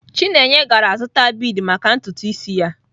Chineye gara zụta bead maka ntutu isi ya.